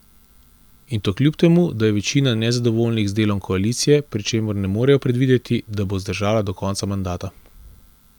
In to kljub temu da je večina nezadovoljnih z delom koalicije, pri čemer ne morejo predvideti, da bo zdržala do konca mandata.